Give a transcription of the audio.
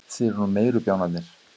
Þið eruð nú meiri bjánarnir.